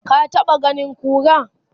ka taɓa ganin kura?